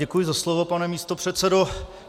Děkuji za slovo, pane místopředsedo.